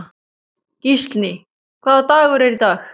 Gíslný, hvaða dagur er í dag?